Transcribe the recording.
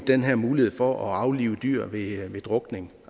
den her mulighed for at aflive dyr ved ved drukning